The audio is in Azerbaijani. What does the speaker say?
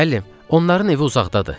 Müəllim, onların evi uzaqdadır.